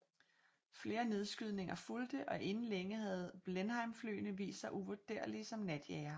Flere nedskydninger fulgte og inden længe havde Blenheimflyene vist sig uvurderlige som natjagere